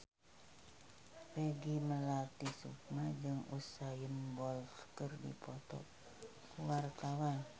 Peggy Melati Sukma jeung Usain Bolt keur dipoto ku wartawan